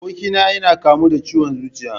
Abokina ya kamu da ciwon zuciya